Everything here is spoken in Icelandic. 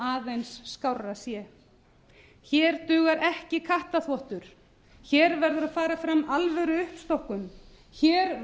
aðeins skárra sé hér dugar ekki kattarþvottur hér verður að fara fram alvöruuppstokkun hér